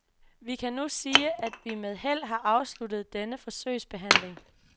Vi kan nu sige, at vi med held har afsluttet denne forsøgsbehandling.